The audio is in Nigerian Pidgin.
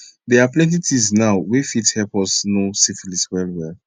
they are plenty things now were f fit help us know syphilis well well